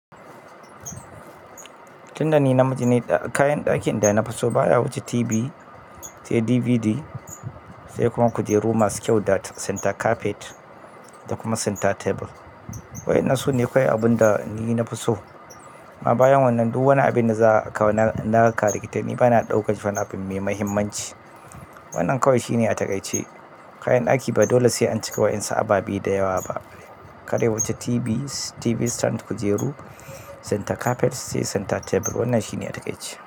Tunda ni na miji ne, kayan ɗakin da na fi so baya wuce TV, sai DVD, sai kuma kujeru masu kyau da center carpet da kuma center table. Waɗannan su ne kawai abun da ni na fi so. Amma bayan wannan duk wani abin da za a kawo na karikitai ni bana ɗaukar wannan abin mai mahimmanci. Wannan kawai shine a takaice. Kayan ɗaki ba dole sai an cika waɗansu ababe biyu da yawa ba. Ka da wuce TV, TV stand, kujeru, center carpet sai center table wannan shine a takaice.